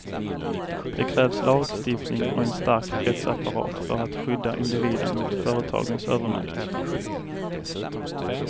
Det krävs lagstiftning och en stark rättsapparat för att skydda individen mot företagens övermakt.